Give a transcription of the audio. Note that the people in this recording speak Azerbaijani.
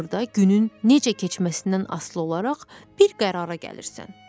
Axırda günün necə keçməsindən asılı olaraq bir qərara gəlirsən.